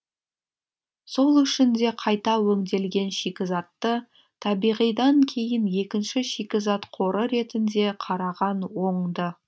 сол үшін де қайта өңделген шикізатты табиғидан кейін екінші шикізат қоры ретінде қараған оңды